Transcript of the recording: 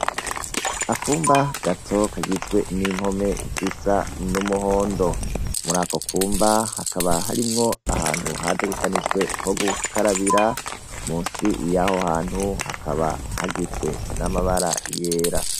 Akumba gato kagizwe n' impome zisa n' umuhondo. Muri ako kumba hakaba harimwo ahantu hategekanijwe ho gukarabira, munsi yaho hantu hakaba hasizwe n' amabara yera.